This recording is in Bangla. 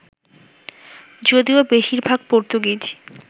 যদিও বেশির ভাগ পর্তুগিজ